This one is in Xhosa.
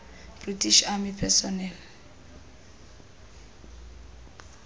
british army personnel